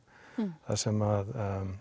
þar sem